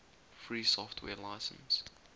free software license